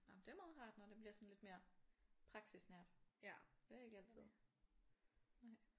Nå men det er meget rart når det bliver sådan lidt mere praksisnært. Det er ikke altid nej